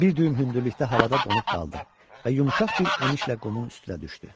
Bir düyüm hündürlükdə havada donub qaldı və yumşaq bir enişlə qumun üstünə düşdü.